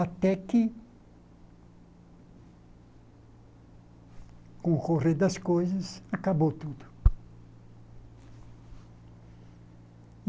Até que, com o correr das coisas, acabou tudo.